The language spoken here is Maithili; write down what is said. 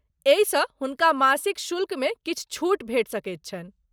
एहिसँ हुनका मासिक शुल्कमे किछु छूट भेटि सकैत छनि।